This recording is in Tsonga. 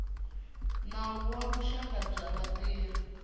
nawu wa vuxaka bya vatirhi